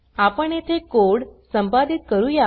आपण येथे कोड संपादित करूया